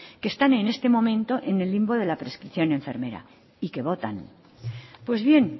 que están en este momento en el limbo de la prescripción enfermera y que votan pues bien